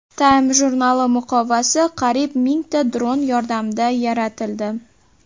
Time jurnali muqovasi qariyb mingta dron yordamida yaratildi .